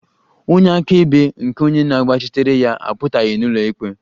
Onye akaebe nke onye na-agbachitere ya apụtaghị n'ụlọikpe